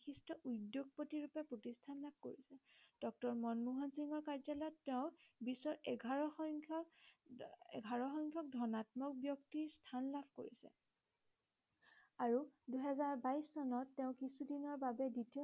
ড মনমোহন সিংৰ কাৰ্যালয়ত তেওঁ বিশ্বৰ এঘাৰ সংখ্য়ক উহ এঘাৰ সংখ্য়ক ধনাত্মক ব্য়ক্তিৰ স্থান লাভ কৰিছে আৰু দুহেজাৰ বাইশ চনত তেওঁ কিছুদিনৰ বাবে দ্বিতীয়